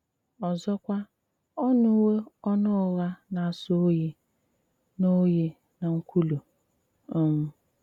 ọzọkwà, ọ́ nùwò ọnụ ugha ná-àsó òyí ná òyí ná ńkwùlù. um